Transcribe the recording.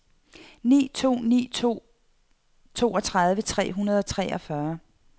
ni to ni to toogtredive tre hundrede og treogfyrre